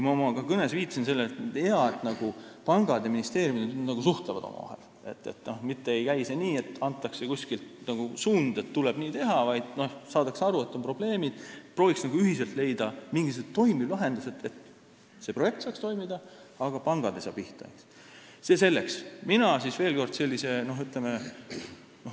Ka oma kõnes ma viitasin sellele, et on hea, kui pangad ja ministeeriumid omavahel suhtlevad, mitte see ei käi nii, et antakse kuskilt suund, kuidas tuleb teha, vaid saadakse aru, et on probleemid, ja proovitakse ühiselt leida mingisugused toimivad lahendused, et projekt saaks toimida, aga pangad ei saa pihta.